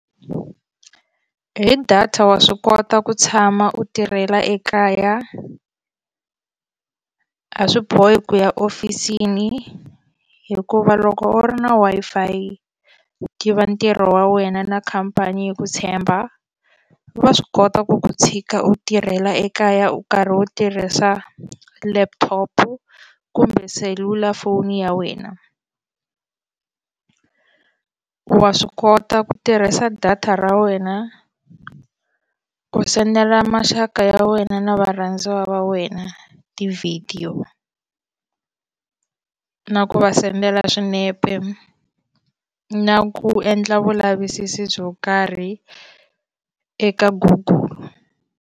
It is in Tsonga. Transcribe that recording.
Hi data wa swi kota ku tshama u tirhela ekaya a swi bohi ku ya hofisini hikuva loko u ri na Wi-Fi u tiva ntirho wa wena na khampani ya ku tshemba va swi kota ku ku tshika u tirhela ekaya u karhi u tirhisa laptop kumbe selulafoni ya wena wa swi kota ku tirhisa data ra wena u sendela maxaka ya wena na varhandziwa va wena tivhidiyo na ku va sendela swinepe na ku endla vulavisisi byo karhi eka Google.